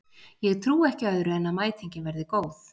Ég trúi ekki öðru en að mætingin verði góð.